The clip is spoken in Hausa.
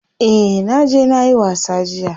Eh naje nayi wasa jiya.